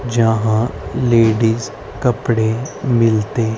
जहां लेडीज कपड़े मिलते--